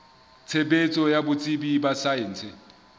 tshebetso ya botsebi ba saense